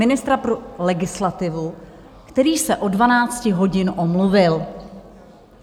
Ministra pro legislativu, který se od 12 hodin omluvil.